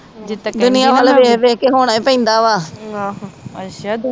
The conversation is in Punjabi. ਦੁਨੀਆ ਵਾਲ ਵੇਖ ਵੇਖ ਹੋਣਾ ਈ ਪੈਂਦਾ ਆ।